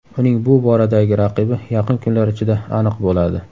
Uning bu boradagi raqibi yaqin kunlar ichida aniq bo‘ladi.